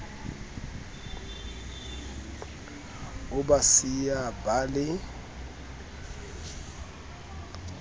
o ba siya ba le